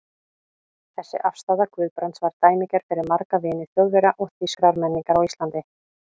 Þessi afstaða Guðbrands var dæmigerð fyrir marga vini Þjóðverja og þýskrar menningar á Íslandi.